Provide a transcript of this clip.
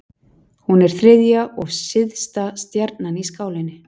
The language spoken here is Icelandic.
Hún er þriðja og syðsta stjarnan í skálinni.